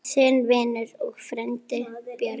Þinn vinur og frændi, Björn.